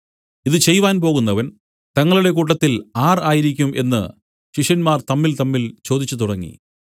ഇതു ചെയ്‌വാൻ പോകുന്നവൻ തങ്ങളുടെ കൂട്ടത്തിൽ ആർ ആയിരിക്കും എന്നു ശിഷ്യന്മാർ തമ്മിൽതമ്മിൽ ചോദിച്ചു തുടങ്ങി